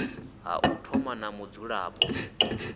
ha u thoma na mudzulapo